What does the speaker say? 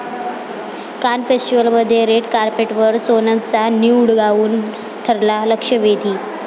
कान फेस्टिवलमध्ये रेड कार्पेटवर सोनमचा न्यूड गाऊन ठरला लक्षवेधी!